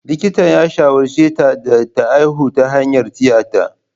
Likitan ya shawarce ta da ta haihu ta hanyar tiyata.